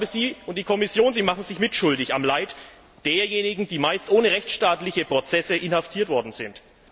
Sie und die Kommission machen sich mitschuldig am Leid derjenigen, die meist ohne rechtsstaatliche Prozesse inhaftiert worden sind.